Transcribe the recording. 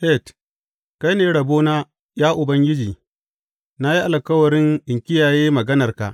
Het Kai ne rabona, ya Ubangiji; na yi alkawarin in kiyaye maganarka.